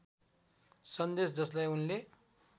सन्देश जसलाई उनले